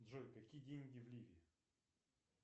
джой какие деньги в ливии